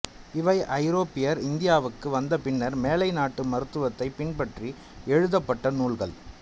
இவை ஐரோப்பியர் இந்தியாவுக்கு வந்த பின்னர் மேலை நாட்டு மருத்துவத்தை பின்பற்றி எழுதப்பட்ட நூல்கள்